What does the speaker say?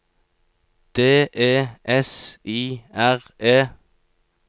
D E S I R E